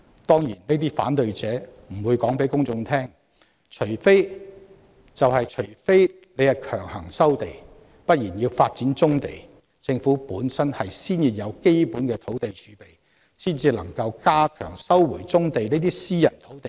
當然，這些反對者不會告訴公眾，除非強行收地，否則要發展棕地，政府本身先要有基本的土地儲備，才有足夠議價能力收回棕地這些私人土地。